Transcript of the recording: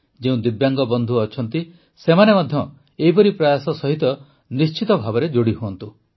ଯେଉଁ ଦିବ୍ୟାଙ୍ଗ ବନ୍ଧୁ ଅଛନ୍ତି ସେମାନେ ମଧ୍ୟ ଏପରି ପ୍ରୟାସ ସହିତ ନିଶ୍ଚିତ ଭାବେ ଯୋଡ଼ି ହୁଅନ୍ତୁ